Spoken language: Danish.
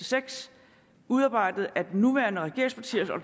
seks udarbejdet af de nuværende regeringspartier og